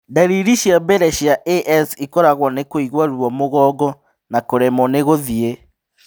Ndariri cia mbere cia AS ĩkoragũo kũigua ruo mũgongo na kũremwo nĩ gũthiĩ.